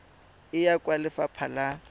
e ya kwa lefapha la